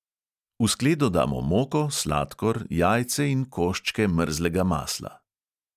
V skledo damo moko, sladkor, jajce in koščke mrzlega masla.